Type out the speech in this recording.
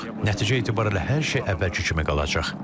Nəticə etibarilə hər şey əvvəlki kimi qalacaq.